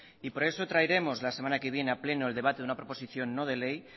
y por eso traeremos la semana que viene a pleno el debate de una proposición no de ley